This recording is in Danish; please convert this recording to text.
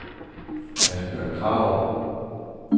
Asbjørn Krarup